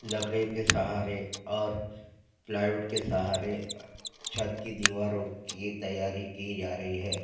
लकड़ीयों के सहारे और प्लाईवुड के सहारे अ छत की दिवारो की तैयारी की जा रही है।